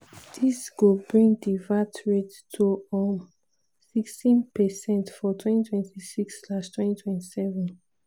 "dis go bring di vat rate to um 16 per cent for 2026/27."